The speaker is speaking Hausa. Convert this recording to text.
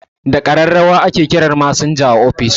Da ƙararrawa ake kiran masinja a office